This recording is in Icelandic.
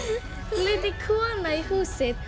hú flutti kona í húsið